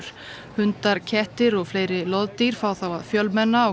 hundar kettir og fleiri loðdýr fá þá að fjölmenna á